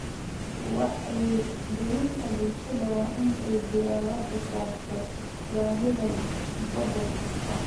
Wacyigelinta bulshada waa in ay diiradda saartaa baahida gobol kasta.